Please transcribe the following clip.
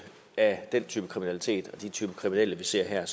af den type kriminalitet og den type kriminelle vi ser her